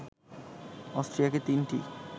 অস্ট্রিয়াকে তিনটি